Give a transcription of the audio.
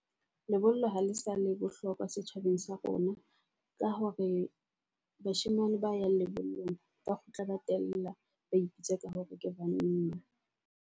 Lebollo ha le sa le bohlokwa setjhabeng sa rona ka hore bashemane ba yang lebollong ba kgutla ba tella ba ipitsa ka hore ke banna.